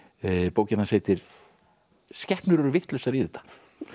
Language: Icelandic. bókin hans heitir skepnur eru vitlausar í þetta